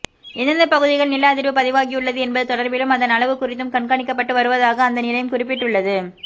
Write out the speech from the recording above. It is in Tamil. எந்தெந்த பகுதிகளில் நில அதிர்வு பதிவாகியுள்ளது என்பது தொடர்பிலும் அதன் அளவு குறித்தும் கண்காணிக்கப்பட்டு வருவதாக அந்த நிலையம் குறிப்பிட்டுள்ளது